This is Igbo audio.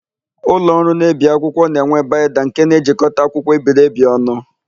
Ụlọọrụ na-ebi akwụkwọ na-enwe baịnda nke na-ejikọta akwụkwọ ebiri ebi ọnụ.